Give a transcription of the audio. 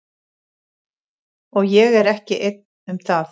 Og ég er ekki einn um það.